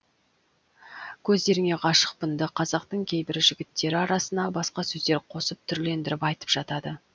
көздеріңе ғашықпынды қазақтың кейбір жігіттері арасына басқа сөздер қосып түрлендіріп айтып жатады